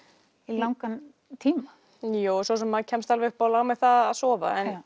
langan tíma jú svo sem maður kemst alveg upp á lag með það að sofa en